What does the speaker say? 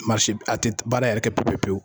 a tɛ baara yɛrɛ kɛ pewu pewu